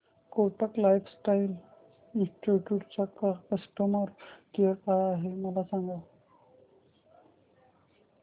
Kotak life insurance चा customer care काय आहे मला सांगा